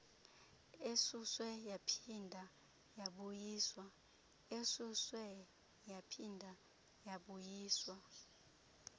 esuswe yaphinda yabuyiswa